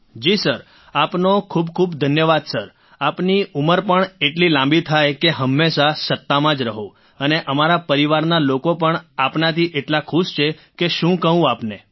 Rajesh Prajapati ji sir આપનો ખૂબ ખૂબ ધન્યવાદ સર આપની ઉંમર પણ એટલી લાંબી થાય કે હંમેશા સત્તામાં જ રહો અને અમારા પરિવારના લોકો પણ આપનાથી એટલા ખુશ છે કે શું કહું આપને